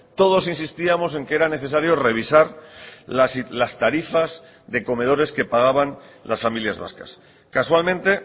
todos insistíamos en que era necesario revisar las tarifas de comedores que pagaban las familias vascas casualmente